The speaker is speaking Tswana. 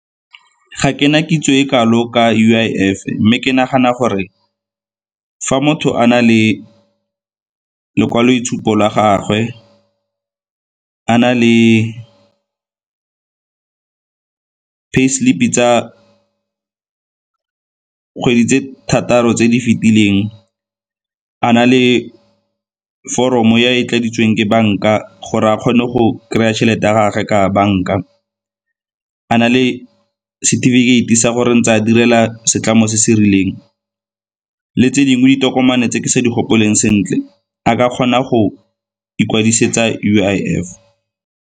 Ga ke na kitso e kalo ka U_I_F-e mme ke nagana gore fa motho a na le lekwaloitshupo la gagwe, a na le pay slip-i tsa kgwedi tse thataro tse di fetileng, a na le foromo e e tladitsweng ke banka gore a kgone go kry-a tšhelete ya gage ka banka, a na le setefikeiti sa gore ntse a direla setlamo se se rileng le tse dingwe ditokomane tse ke sa di gopoleng sentle a ka kgona go ikwadisetsa U_I_F.